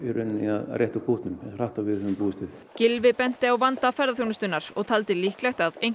að rétta úr kútnum hratt og við höfum búist við Gylfi benti á vanda ferðaþjónustunnar og taldi líklegt að